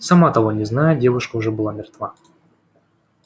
сама того не зная девушка уже была мертва